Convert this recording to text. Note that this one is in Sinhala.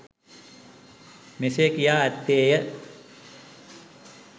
මෙසේ කියා ඇත්තේ ය.